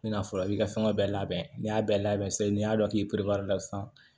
N bɛna fɔra i ka fɛngɛ bɛɛ labɛn n'i y'a bɛɛ labɛn sisan n'i y'a dɔn k'i sisan